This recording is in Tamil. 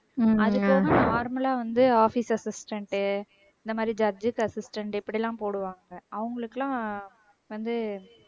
அதுபோக normal ல வந்து office assistant உ இந்த மாதிரி judge assistant இப்படி எல்லாம் போடுவாங்க அவங்களுக்கெல்லாம் வந்து